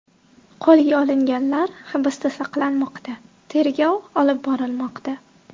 Qo‘lga olinganlar hibsda saqlanmoqda, tergov olib borilmoqda.